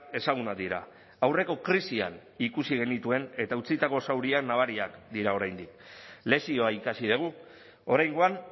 ezagunak dira aurreko krisian ikusi genituen eta utzitako zauriak nabariak dira oraindik lezioa ikasi dugu oraingoan